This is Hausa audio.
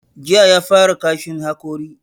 Jiya ya fara kashin hakori.